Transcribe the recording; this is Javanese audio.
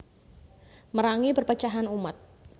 Merangi perpecahan umat